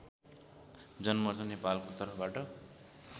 जनमोर्चा नेपालको तर्फबाट